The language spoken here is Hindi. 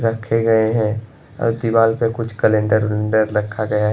रखे गए है और दीवार पर कुछ कैलेंडर वलेन्डर रखा गया है।